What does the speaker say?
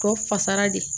Tɔ fasara de